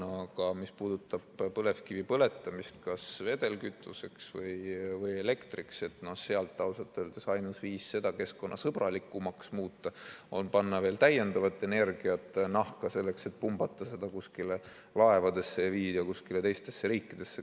Aga mis puudutab põlevkivi põletamist kas vedelkütuseks või elektriks, siis ausalt öeldes ainus viis seda keskkonnasõbralikumaks muuta on panna veel täiendavat energiat nahka selleks, et pumbata see laevadesse ja viia kuskile teistesse riikidesse.